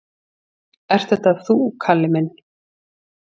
"""Ert þetta þú, Kalli minn?"""